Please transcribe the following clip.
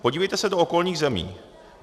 Podívejte se do okolních zemí.